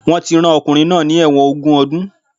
Wọ́n ti rán ọkùnrin náà ní ẹ̀wọ̀n ogún ọdún